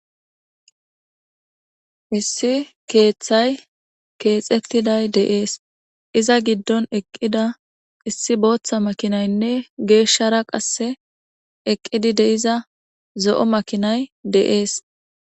Issi keeththay keexettiday deees iza giddon eqqida issi booththa makinaynne geeshshara qasse eqqidi de'iza zo'o makinay deees.